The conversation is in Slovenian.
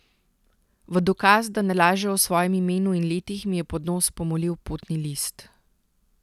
V dokaz, da ne laže o svojem imenu in letih, mi je pod nos pomolil potni list.